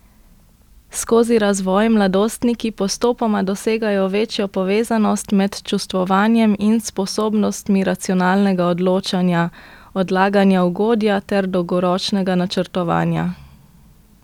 Skozi razvoj mladostniki postopoma dosegajo večjo povezanost med čustvovanjem in sposobnostmi racionalnega odločanja, odlaganja ugodja ter dologoročnega načrtovanja.